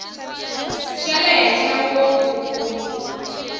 xa le henhla ngopfu ku